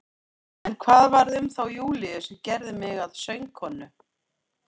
En hvað varð um þá Júlíu sem gerði mig að sögukonu?